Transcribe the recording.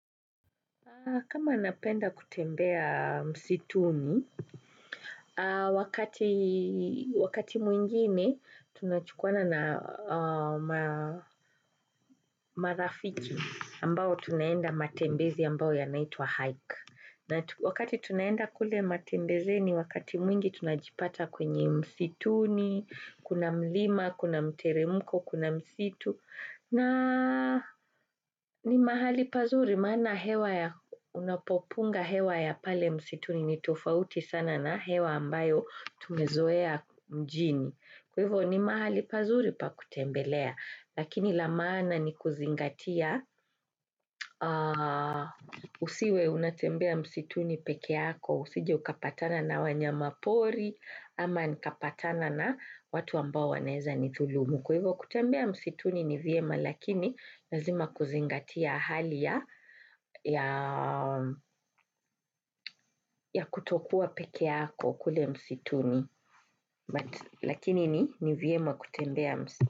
Kama napenda kutembea msituni, wakati mwingine tunachukuana na marafiki ambao tunaenda matembezi ambao yanaitwa hike. Wakati tunaenda kule matembezeni, wakati mwingi tunajipata kwenye msituni, kuna mlima, kuna mteremko, kuna msitu. Na ni mahali pazuri, maana hewa ya unapopunga hewa ya pale msituni ni tofauti sana na hewa ambayo tumezoea mjini. Kwa hivyo ni mahali pazuri pa kutembelea, lakini la maana ni kuzingatia usiwe unatembea msituni pekee yako, usije ukapatana na wanyama pori ama nikapatana na watu ambao wanaeza nithulumu. Kwa hivyo kutembea msituni ni vyema lakini lazima kuzingatia hali ya ya kutokuwa pekee yako kule msituni, lakini ni vyema kutembea msituni.